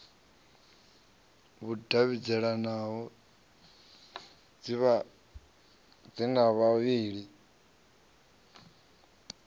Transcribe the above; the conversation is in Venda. vhudavhidzano ḓi re na vhavhali